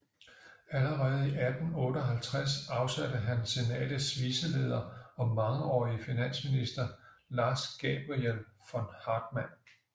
Allerede i 1858 afsatte han senatets viceleder og mangeårige finansminister Lars Gabriel von Haartman